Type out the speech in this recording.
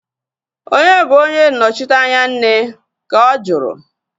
Onye bụ onye nnọchiteanya nne? Ka ọ juru